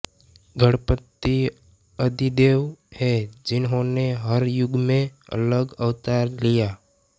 गणपति आदिदेव हैं जिन्होंने हर युग में अलग अवतार लिया